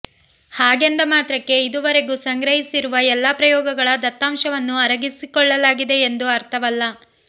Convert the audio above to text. ಹಾಗೆಂದ ಮಾತ್ರಕ್ಕೆ ಇದುವರೆಗೂ ಸಂಗ್ರಹಿಸಿರುವ ಎಲ್ಲ ಪ್ರಯೋಗಗಳ ದತ್ತಾಂಶವನ್ನು ಅರಗಿಸಿಕೊಳ್ಳಲಾಗಿದೆಯೆಂದು ಅರ್ಥವಲ್ಲ